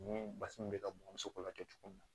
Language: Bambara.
Ni basi min bɛ ka bɔn muso la cogo min na